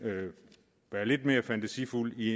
være lidt mere fantasifulde i